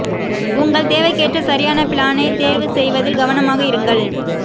உங்கள் தேவைக்கேற்ற சரியான பிளானை தேர்வு செய்வதில் கவனமாக இருங்கள்